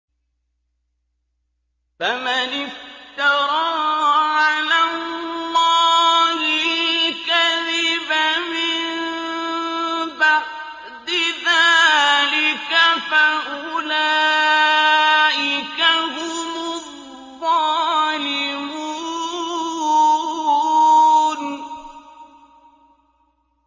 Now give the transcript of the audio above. فَمَنِ افْتَرَىٰ عَلَى اللَّهِ الْكَذِبَ مِن بَعْدِ ذَٰلِكَ فَأُولَٰئِكَ هُمُ الظَّالِمُونَ